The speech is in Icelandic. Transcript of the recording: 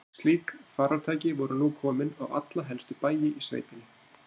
Slík farartæki voru nú komin á alla helstu bæi í sveitinni.